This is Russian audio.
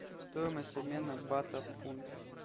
стоимость обмена бата в фунт